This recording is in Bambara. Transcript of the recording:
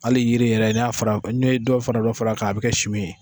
Ali yiri yɛrɛ ne y'a fara ne ye dɔw fana ma far'a kan a be kɛ su ye